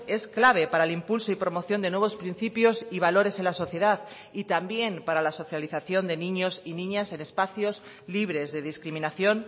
es clave para el impulso y promoción de nuevos principios y valores en la sociedad y también para la socialización de niños y niñas en espacios libres de discriminación